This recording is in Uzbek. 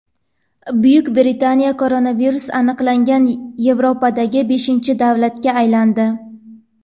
Buyuk Britaniya koronavirus aniqlangan Yevropadagi beshinchi davlatga aylandi.